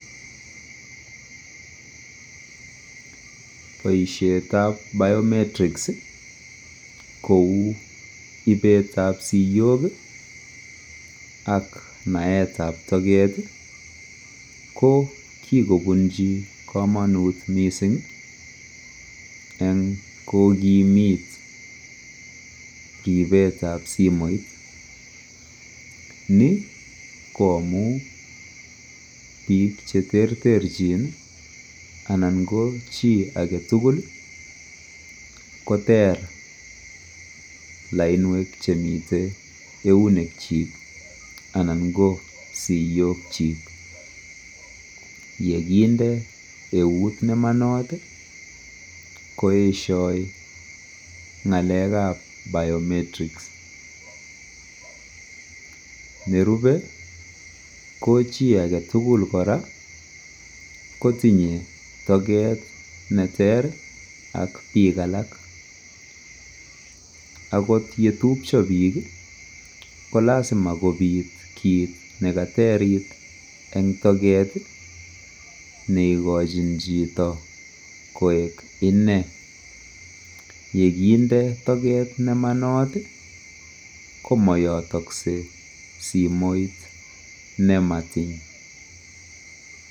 boishet ab biometrics iih kouu ibeetab siyook ak naeet ab togeet iih, ko kigobunchi komonut mising en kogimiit ribeet ab simoit, ni ko amuun piik cheterter chin anan ko chii agetugul iih koteer lainweek chemiten euneek chiik anan ko siyook chiik, yeginde euut nemonot iih koesyoo ngaleek ab biometrics, nerube ko chii agetugul koraa kotinye togeet neter ak biik alak akot yetupcho piik iih kolasima kobiit kiit negateriit en togeet neigochin chito koek inee, yeginde togeet nemonot iih komoyotokse simoit nematin.